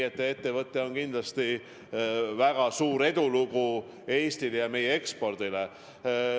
See ettevõte on kindlasti väga suur edulugu Eestis ja arendab ka meie eksporti.